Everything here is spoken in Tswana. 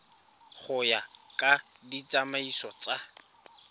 go ya ka ditsamaiso tsa